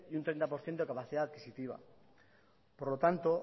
y un treinta por ciento de capacidad adquisitiva por lo tanto